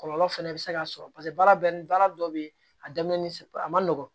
Kɔlɔlɔ fɛnɛ bɛ se ka sɔrɔ paseke baara bɛɛ ni baara dɔ bɛ ye a daminɛ ni a ma nɔgɔn